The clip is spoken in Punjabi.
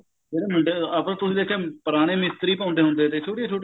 ਉਹਨਾ ਮੁੰਡਿਆ ਤੁਸੀਂ ਦੇਖਿਆ ਪੁਰਾਣੇ ਮਿਸਤਰੀ ਪਾਉਂਦੇ ਹੁੰਦੇ ਤੇ ਛੋਟੀਆਂ ਛੋਟੀਆਂ